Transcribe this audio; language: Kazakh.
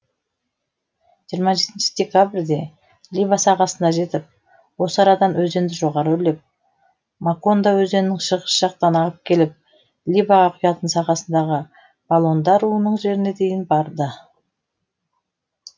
жиырма жетінші декабрьде либа сағасына жетіп осы арадан өзенді жоғары өрлеп макондо өзенінің шығыс жақтан ағып келіп либаға құятын сағасындағы балонда руының жеріне дейін барды